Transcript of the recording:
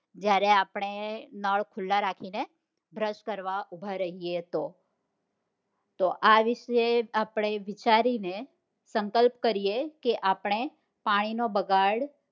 જયારે આપણે નાળ ખુલ્લા રાખીને brush કરવા ઉભા રહીએ તો, તો આ વિષે આપડે વિચારીને સંકલ્પ કરીએ કે અપને પાણી નો બગાડ